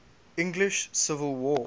english civil war